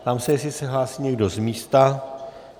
Ptám se, jestli se hlásí někdo z místa.